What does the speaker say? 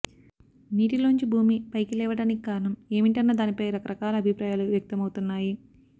నీటిలోంచి భూమి పైకి లేవడానికి కారణం ఏమిటన్న దానిపై రకరకాల అభిప్రాయాలు వ్యక్తమవుతున్నాయి